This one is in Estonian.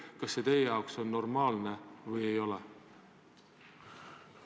Öelge, kas see teie jaoks on normaalne või ei ole?